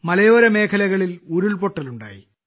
മലയോര മേഖലകളിൽ ഉരുൾപൊട്ടലുണ്ടായി